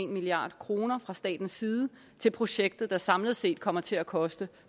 milliard kroner fra statens side til projektet der samlet set kommer til at koste